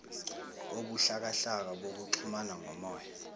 obuhlakahlaka bokuxhumana ngomoya